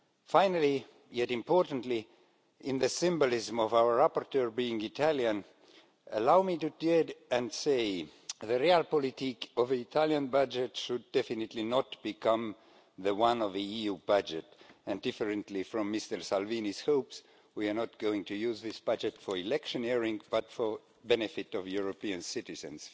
Finally, yet importantly, in the symbolism of our rapporteur being Italian, allow me to dare to say the realpolitik of an Italian budget should definitely not become the one of the EU budget, and contrary to Mr Salvini's hopes, we are not going to use this budget for electioneering but for the benefit of European citizens.